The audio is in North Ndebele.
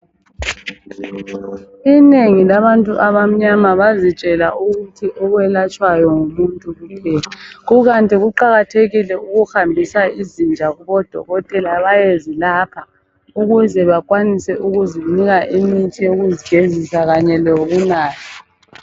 Inengi labantu abamnyama bazitshela ukuthi okwelatshwayo ngumuntu kuphela, kukanti kuqakathekile ukuhambisa izinja kuboDokotela bayezilapha ukuze bakwanise ukuzinika imithi yokuzigezisa kunye leyokunatha.